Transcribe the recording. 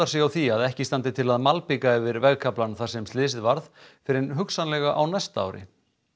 sig á því að ekki standi til að malbika yfir vegarkaflann þar sem slysið varð fyrr en hugsanlega á næsta ári